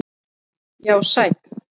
Já, sæll